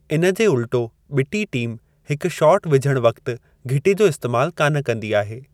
इन जे उल्टो, बि॒टी टीम हिकु शॉट विझणु वक़्ति घिटी जो इस्तैमालु कान कंदी आहे।